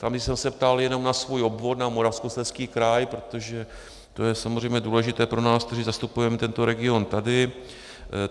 Tam jsem se ptal jenom na svůj obvod, na Moravskoslezský kraj, protože to je samozřejmě důležité pro nás, kteří zastupujeme tento region tady.